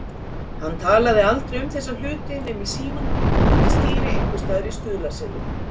Hann talaði aldrei um þessa hluti nema í símann undir stýri einhvers staðar í Stuðlaseli.